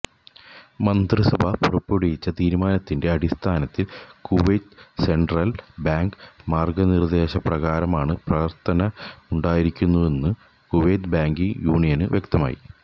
മന്ത്രിസഭ പുറപ്പെടുവിച്ച തീരുമാനത്തിന്റെ അടിസ്ഥാനത്തില് കുവൈത്ത് സെന്ട്രല് ബാങ്ക് മാര്ഗനിര്ദേശപ്രകാരമാണ് പ്രവര്ത്തനമുണ്ടായിരിക്കുകയെന്ന് കുവൈത്ത് ബാങ്കിങ് യൂനിയന് വ്യക്തമാക്കി